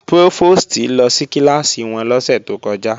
Prófòstì lọ sí kíláàsì wọn lọ́sẹ̀ tó kọjá